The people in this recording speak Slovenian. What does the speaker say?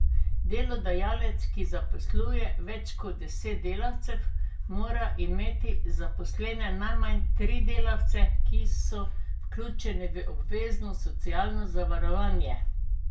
Delodajalec, ki zaposluje več kot deset delavcev, mora imeti zaposlene najmanj tri delavce, ki so vključeni v obvezna socialna zavarovanja.